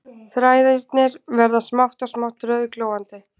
Þræðirnir verða smátt og smátt rauðglóandi